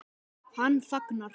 Hann þagnar.